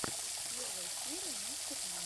первая серия мистер бин